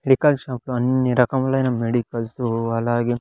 Medical shop లో అన్ని రకములైన మెడికల్సు అలాగే.